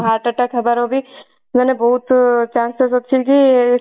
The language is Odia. heart attack ହବାର ବି ମାନେ ବହୁତ chances ଅଛି କି